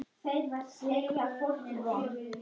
Tæknin er til.